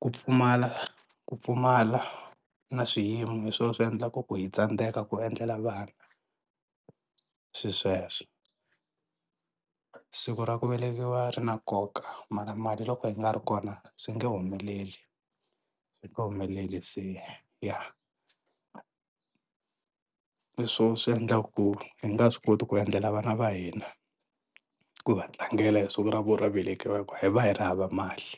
ku pfumala ku pfumala na swiyimo hi swo swi endlaka ku hi tsandzeka ku endlela vana swi sweswo. Siku ra ku velekiwa ri na nkoka mara mali loko yi nga ri kona swi nge humeleli swi nge humeleli se ya. Hi swo swi endlaka ku hi nga swi koti ku endlela vana va hina ku va tlangela hi siku ra vona ro velekiwaka hi ku hi va hi ri hava mali.